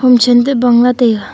homtham toh bang lah taiga.